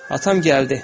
Atam gəldi.